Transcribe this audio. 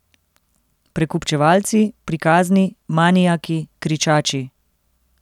Prekupčevalci, prikazni, manijaki, kričači.